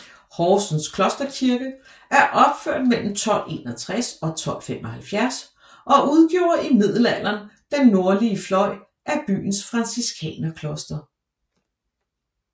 Horsens Klosterkirke er opført mellem 1261 og 1275 og udgjorde i middelalderen den nordlige fløj af byens franciskanerkloster